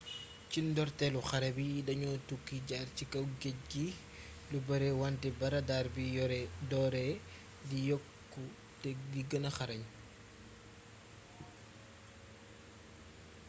ci ndorteelu xare bi dañoo tukki jaar ci kaw géeej gi lu bare wante ba radar yi dooree di yokku te di gëna xarañ